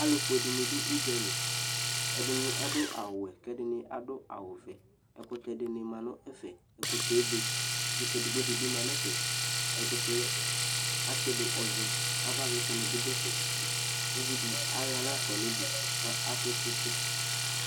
Alʋfʋe dɩnɩ dʋ ʋdzalɩ ɛdɩnɩ adʋ awʋ wɛ kɛdɩnɩ adʋ awʋ vɛ ɛkʋtɛ dɩnɩ ma nʋ ɛfɛ ɛkʋtɛ ebe ɛkʋtɛ edɩgbo dɩbi ma nɛfɛ ɛkʋtɛ atsɩdʋ ɔvɛ avavlɩtsɛ nɩbɩ dʋ ɛfɛ ʋvidɩ ayɔ aɣla ɣafa nʋdʋ kʋ adʋ tsɩtsɩ